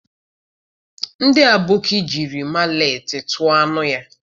Ndi aboki jiri maletị tuo anu ya.